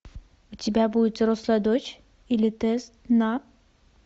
у тебя будет взрослая дочь или тест на